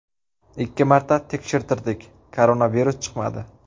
Ikki marta tekshirtirdik koronavirus chiqmadi.